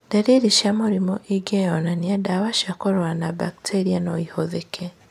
Ndariri cia mũrimũ ingĩyonanania, ndawa cia kũrũa na mbakteria noihũthĩke